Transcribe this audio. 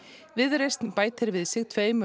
viðreisn bætir við sig tveimur